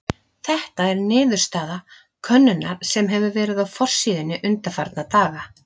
Þetta er niðurstaða könnunar sem verið hefur á forsíðunni undanfarna daga.